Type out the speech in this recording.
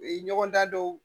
U ye ɲɔgɔndan dɔw